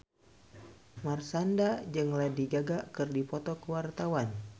Marshanda jeung Lady Gaga keur dipoto ku wartawan